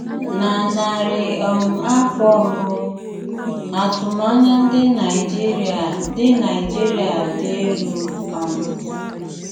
Na narị um afọ mbù, àtụ́mànyà ndị Naijíríà dì Naijíríà dì èlú um.